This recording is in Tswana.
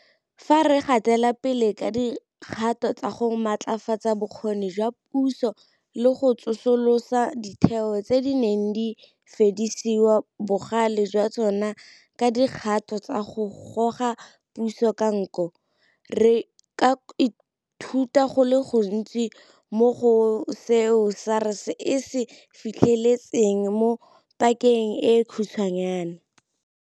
Fa re gatela pele ka dikgato tsa go matlafatsa bokgoni jwa puso le go tsosolosa ditheo tse di neng tsa fedisiwa bogale jwa tsona ka dikgato tsa go goga puso ka nko, re ka ithuta go le gontsi mo go seo SARS e se fitlheletseng mo pakeng e khutshwanyana.